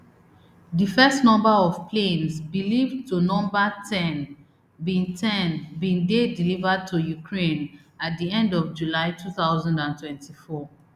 di first batch of planes believed to number ten bin ten bin dey delivered to ukraine at di end of july two thousand and twenty-four